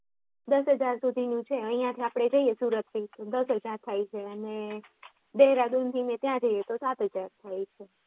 દસ હજાર સુધીનું છે અહ્યાંથી આપડે સુરત થી દસ હજાર થાય છે અને દેહરાદૂન થી જઇયે તો સાત હજાર થાય છે